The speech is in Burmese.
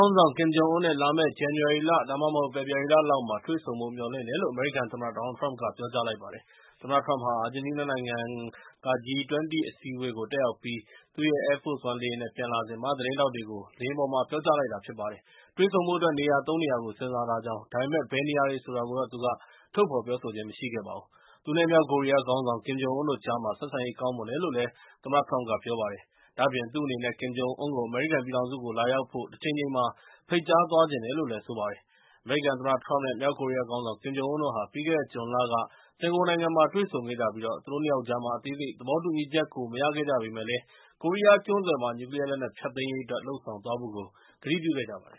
င်းဆောင် ကင်ဂျုံအွန်းနဲ့ လာမယ့် ဇန်နဝါရီ ဒါမှမဟုတ် ဖေဖော်ဝါရီလလောက်မှာ တွေ့ဆုံဖို့မျှော်လင်တယ်လို့ အမေရိကန်သမ္မတ ဒေါ်နယ်လ်ထရမ့်က ပြောကြားလိုက်ပါတယ်။ သမ္မတထရမ့်ဟာ အာဂျင်တီးနားနိုင်ငံက G-20 အစည်းအဝေး တက်ရောက်ပြီး သူ့ရဲ့ Air Focre လေယာဉ်နဲ့ ပြန်လာစဉ် သတင်းထောက်တွေကို လေယာဉ်ပေါ်မှာ ပြောကြားလိုက်တာဖြစ်ပါတယ်။ တွေ့ဆုံဖို့အတွက် နေရာ ၃ နေရာကို စဉ်းစားထားကြောင်း၊ ဒါပေမဲ့ ဘယ်နေရာတွေဆိုတာကိုတော့ သူက ထုတ်ဖော်ပြောဆိုခြင်းမရှိခဲ့ပါဘူး။ သူနဲ့ မြောက်ကိုရီးယားခေါင်းဆောင် ကင်ဂျုံအွန်းတို့ကြားမှာ ဆက်ဆံရေးကောင်းမွန်တယ်လို့ သမ္မတထရမ့်က ပြောပါတယ်။ ဒါ့အပြင် သူ့အနေနဲ့ ကင်ဂျုံအွန်းကို အမေရိကန်ပြည်ထောင်စုကို လာရောက်ဖို့ တချိန်ချိန်မှာ ဖိတ်ကြားသွားချင်တယ်လို့လည်း ပြောပါတယ်။ အမေရိကန်သမ္မတ ထရမ့် နဲ့ မြောက်ကိုရီးယားခေါင်းဆောင် ကင်ဂျုံအွန်းတို့ဟာ ပြီးခဲ့တဲ့ ဇွန်လက စင်ကာပူနိုင်ငံမှာ တွေ့ဆုံခဲ့ကြပြီး၊ သူတို့ ၂ ယောက်ကြားမှာ အသေးစိတ်သဘောတူညီချက်ကို မရခဲ့ကြပေမယ့်၊ ကိုရီးယားကျွန်းဆွယ်မှာ နျူးကလီးယားလက်နက်ဖျက်သိမ်းရေးအတွက် လုပ်ဆောင်သွားဖို့ ကတိပြုခဲ့ကြပါတယ်